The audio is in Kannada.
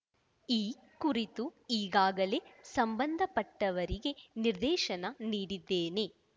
ಈ ಕುರಿತು ಈಗಾಗಲೇ ಸಂಬಂಧಪಟ್ಟವರಿಗೆ ನಿರ್ದೇಶನ ನೀಡಿದ್ದೇನೆ